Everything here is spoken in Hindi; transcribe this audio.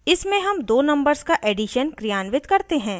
इसमें हम दो numbers का एडिशन क्रियान्वित करते हैं